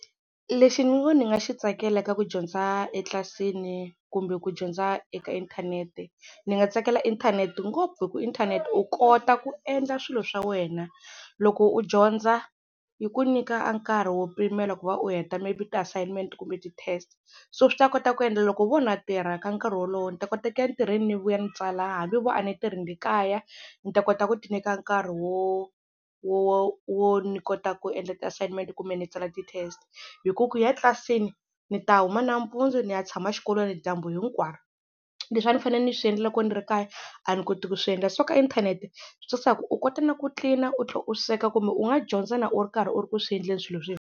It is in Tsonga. Lexi ni ngo ni nga xi tsakela ka ku dyondza etlilasini kumbe ku dyondza eka inthanete, ni nga tsakela inthanete ngopfu hi ku inthanete u kota ku endla swilo swa wena loko u dyondza yi ku nyika a nkarhi wo pimela ku va u heta maybe ti-assignment-i kumbe ti-test, so swi ta kota ku endla loko vo na tirha ka nkarhi wolowo ni ta kota ku ntirhweni ni vuya ni tsala hambi vo a ni tirhi ni le kaya ni ta kota ku tinyika nkarhi wo wo wo ni kota ku endla ti-assignment-i kumbe ni tsala ti-test hi ku ku ya tlilasini ni ta huma nampundzu ni ya tshama xikolweni dyambu hinkwaro leswi a ni fanele ni swi endla loko ni ri ekaya a ni koti ku swi endla, so ka inthanete leswi tsakisaka u kota na ku clean u sweka kumbe u nga dyondza na u ri karhi u ri ku swi endleni swilo .